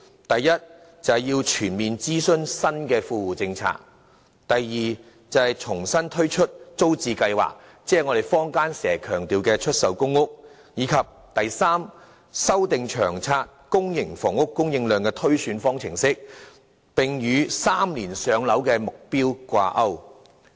第一，就新的富戶政策進行全面諮詢；第二，重新推出租者置其屋計劃，以及第三，修訂《長遠房屋策略》公營房屋供應量的推算方程式，並與 "3 年上樓"的目標掛鈎。